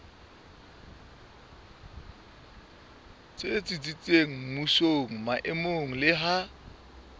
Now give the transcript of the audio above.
tsitsitseng mmusong maemong le ha